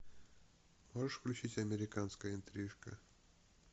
можешь включить американская интрижка